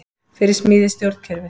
Fyrir smíði stjórnkerfis